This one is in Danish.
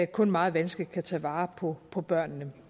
kun meget vanskeligt kan tage vare på på børnene